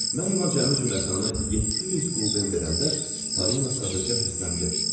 Mən ona cəmi cümlətanı 700 qulden verəndə Polina sadəcə hirsləndi.